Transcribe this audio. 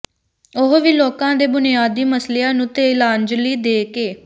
ਉਹ ਵੀ ਲੋਕਾਂ ਦੇ ਬੁਨਿਆਦੀ ਮਸਲਿਆਂ ਨੂੰ ਤਿਲਾਂਜਲੀ ਦੇ ਕੇ